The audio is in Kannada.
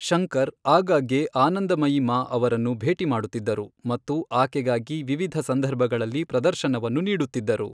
ಶಂಕರ್ ಆಗಾಗ್ಗೆ ಆನಂದಮಯಿ ಮಾ ಅವರನ್ನು ಭೇಟಿ ಮಾಡುತ್ತಿದ್ದರು ಮತ್ತು ಆಕೆಗಾಗಿ ವಿವಿಧ ಸಂದರ್ಭಗಳಲ್ಲಿ ಪ್ರದರ್ಶನವನ್ನು ನೀಡುತ್ತಿದ್ದರು.